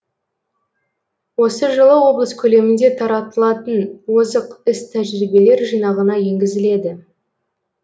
осы жылы облыс көлемінде таратылатын озық іс тәжірибелер жинағына енгізіледі